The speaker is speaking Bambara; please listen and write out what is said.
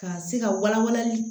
Ka se ka wala walali